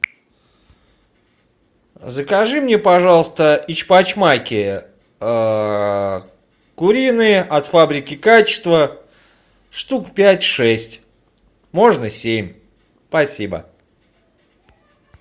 закажи мне пожалуйста эчпочмаки куриные от фабрики качество штук пять шесть можно семь спасибо